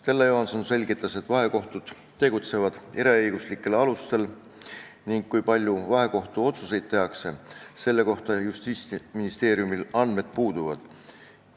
Stella Johanson selgitas, et vahekohtud tegutsevad eraõiguslikel alustel ning kui palju vahekohtu otsuseid tehakse, selle kohta Justiitsministeeriumil andmed puuduvad.